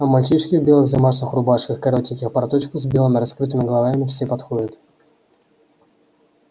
а мальчишки в белых замашных рубашках и коротеньких порточках с белыми раскрытыми головами все подходят